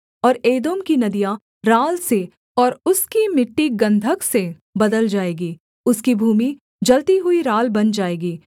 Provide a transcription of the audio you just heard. और एदोम की नदियाँ राल से और उसकी मिट्टी गन्धक से बदल जाएगी उसकी भूमि जलती हुई राल बन जाएगी